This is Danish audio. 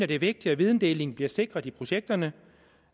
det er vigtigt at videndeling bliver sikret i projekterne